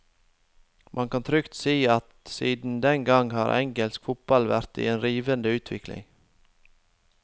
Man kan trygt si at siden den gang har engelsk fotball vært i en rivende utvikling.